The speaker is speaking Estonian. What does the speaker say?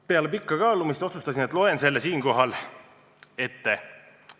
Peale pikka kaalumist otsustasin, et loen selle ka siin ette.